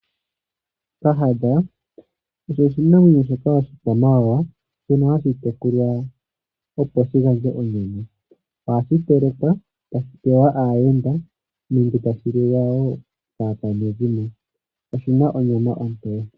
Kahadha osho oshinamwenyo shoka oshikwamawawa, shono hashi tekulwa, opo shi gandje onyama. Ohashi telekwa tashi pewa aayenda nenge tashi liwa wo kaakwanezimo. Oshi na onyama ontoye.